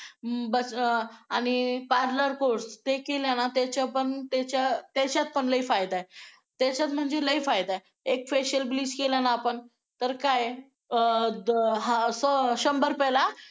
ना पण आणि parlour course ते केलाय पण केलेला आणि त्याच्यात पण लय फायदा आहे एक फेशिअल ब्लीच केला ना आपण तर काय अ शंभर रुपयाला